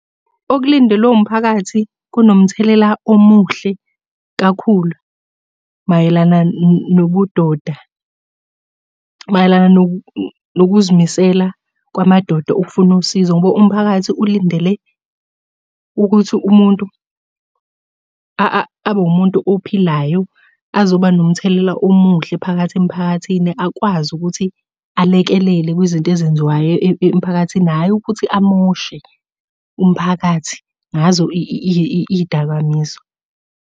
Okulindelwe umphakathi kunomthelela omuhle kakhulu mayelana nobudoda. Mayelana nokuzimisela kwamadoda ukufuna usizo, ngoba umphakathi ulindele ukuthi umuntu abe wumuntu ophilayo, azoba nomthelela omuhle phakathi emphakathini akwazi ukuthi alekelele kwizinto ezenziwayo emphakathini hhayi ukuthi amoshe umphakathi ngazo iy'dakamizwa.